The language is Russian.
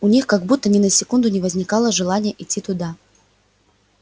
у них как будто ни на секунду не возникало желания идти туда